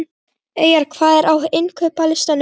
Eyjar, hvað er á innkaupalistanum mínum?